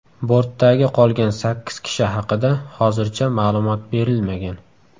Bortdagi qolgan sakkiz kishi haqida hozircha ma’lumot berilmagan.